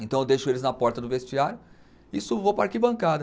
Então eu deixo eles na porta do vestiário e subo vou para a arquibancada.